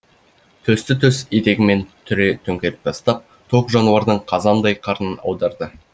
төсті төс етегімен түре төңкеріп тастап тоқ жануардың қазандай қарнын аударды